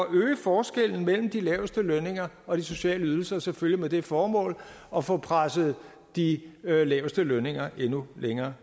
øge forskellen mellem de laveste lønninger og de sociale ydelser selvfølgelig med det formål at få presset de laveste lønninger endnu længere